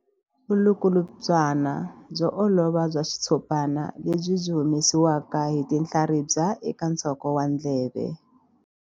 Vulukulutswana byo olova bya xitshopana lebyi byi humesiwaka hi tinhlaribya eka nsoko wa ndleve.